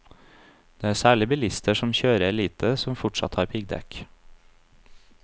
Det er særlig bilister som kjører lite som fortsatt har piggdekk.